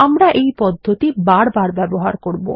আমরা এই পদ্ধতি বার বার ব্যবহার করব